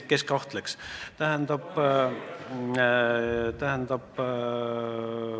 No kes kahtleks!